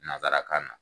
Nansarakan na